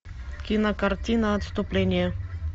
кинокартина отступление